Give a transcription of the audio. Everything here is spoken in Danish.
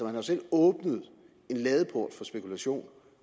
har jo selv åbnet en ladeport for spekulation